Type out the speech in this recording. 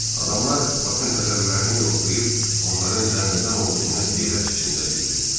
Adamlar Bakın əzələlərini yoxlayıb, onların dəmirdən olduğunu heyrət içində bildirdilər.